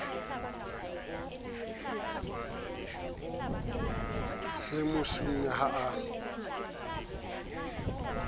se mo sune ha a